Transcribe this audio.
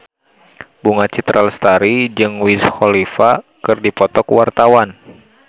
Bunga Citra Lestari jeung Wiz Khalifa keur dipoto ku wartawan